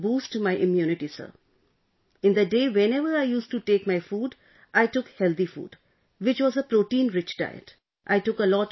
In order to boost my immunity Sir, in the day, whenever I used to take my food, I took healthy food, which was a protein rich diet